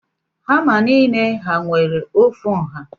Hama nile ha nwere ofu nha?